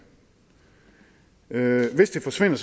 det hvis den forsvinder